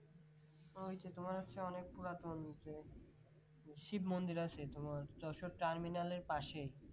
ওইটা তোমার হচ্ছে অনেক পুরাতন যে শিব মন্দির আছে তোমার যশোর terminal এর পাশে।